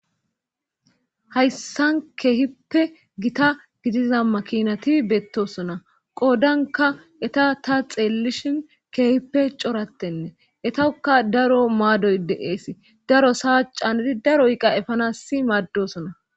Hayssan keehippe gita gidiza makinati beettosona qoodanka eta ta xeellishin keehippe corattenne etoka daro maadoy deees daro saa canedi daroyqa efanasi maaddosona